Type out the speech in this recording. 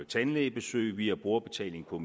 tandlægebesøg vi har brugerbetaling på